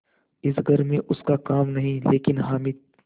इस घर में उसका काम नहीं लेकिन हामिद